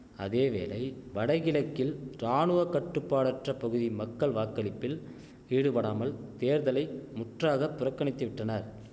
அதேவேளை வடகிழக்கில் ராணுவ கட்டுப்பாடற்ற பகுதி மக்கள் வாக்களிப்பில் ஈடுபடாமல் தேர்தலை முற்றாக புறக்கணித்துவிட்டனர்